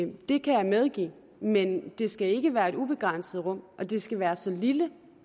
det det kan jeg medgive men det skal ikke være et ubegrænset rum og det skal være så lille